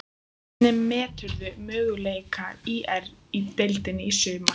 Hvernig meturðu möguleika ÍR í deildinni í sumar?